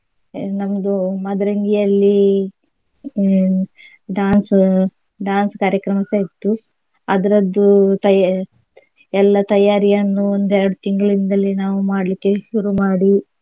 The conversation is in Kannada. ನಮ್ದು ಮಾದ್ರೆಂಗಿ ಯಲ್ಲಿ ಹ್ಮ್ dance dance ಕಾರ್ಯಕ್ರಮಸ ಇತ್ತು ಅದ್ರದ್ದು ತಯಾ~ ಎಲ್ಲಾ ತಯಾರಿಯನ್ನು ಒಂದ್ ಎರಡ್ ತಿಂಗ್ಳಿಂದಲೇ ನಾವು ಮಾಡ್ಲಿಕ್ಕೆ ಶುರು ಮಾಡಿ.